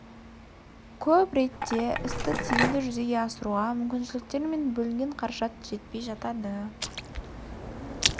көп ретте істі тиімді жүзеге асыруға мүмкіншіліктер мен бөлінген қаражат жетпей жатады